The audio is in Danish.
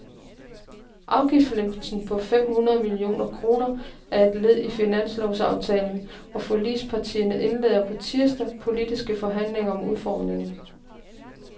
Afgiftslempelsen på fem hundrede millioner kroner er led i finanslovsaftalen, og forligspartierne indleder på tirsdag politiske forhandlinger om udformningen.